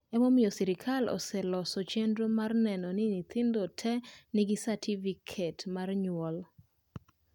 ma emomiyo serikali aseloso chenro ma neno ni nyithindo te nigi satifiket mar nyuol